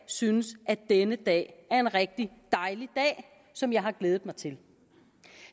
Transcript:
synes at denne dag er en rigtig dejlig dag som jeg har glædet mig til